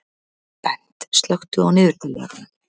Bent, slökktu á niðurteljaranum.